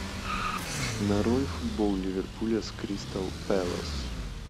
нарой футбол ливерпуля с кристал пэлас